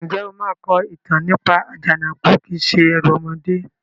Ǹjẹ́ o máa kọ ìtàn nípa "Àjànàkú kìí se ẹrù ọmọdé"?